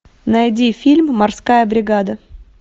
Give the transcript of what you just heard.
найди фильм морская бригада